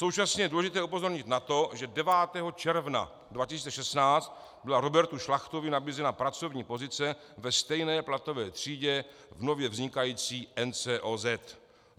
Současně je důležité upozornit na to, že 9. června 2016 byla Robertu Šlachtovi nabízena pracovní pozice ve stejné platové třídě v nově vznikající NCOZ.